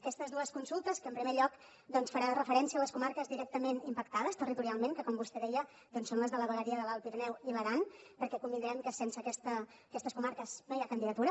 aquestes dues consultes que en primer lloc faran referència a les comarques directament impactades territorialment que com vostè deia són les de la vegueria de l’alt pirineu i l’aran perquè devem convenir que sense aquestes comarques no hi ha candidatura